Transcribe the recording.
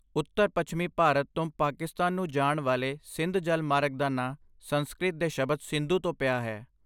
ਉੱਤਰ ਪੱਛਮੀ ਭਾਰਤ ਤੋਂ ਪਾਕਿਸਤਾਨ ਨੂੰ ਜਾਣ ਵਾਲੇ ਸਿੰਧ ਜਲ ਮਾਰਗ ਦਾ ਨਾਂ ਸੰਸਕ੍ਰਿਤ ਦੇ ਸ਼ਬਦ ਸਿੰਧੂ ਤੋਂ ਪਿਆ ਹੈ